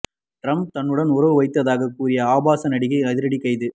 Trump தன்னுடன் உறவு வைத்ததாக கூறிய ஆபாச நடிகை அதிரடி கைது